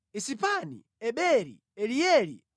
Isipani, Eberi, Elieli,